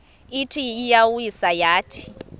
ithi iyawisa yathi